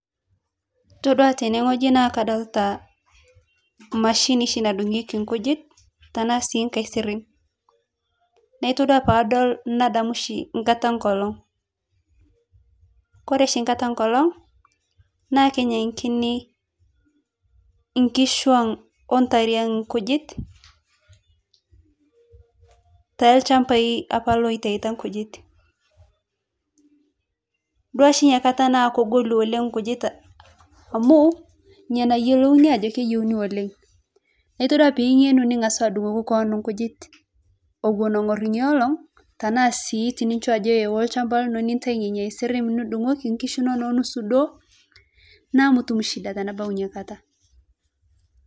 Todua tenegoji naa kadolita mashini shii nadungieki nkujit tanaa si ngasirim naa tudua paadol nadamu shii nkata engolog kore shii nkataa engolog naa kenyang'kini kishuu oo ntariang' nkujit nteechambai ,apa ooitaita nkujit ,dua shii nyia kata naa kogolu ole nkujit amu nyia nayelouni ajoo keyieuni ole naa todua piingenu ningasu adungoki koon nkujit owuon ogor nyia olong' taanaa si inchoo ajo ewuo nchamba lino nitai nenyia asirim nidungoki kishu inonoo naaku mutum shida tenabau nyiaparii.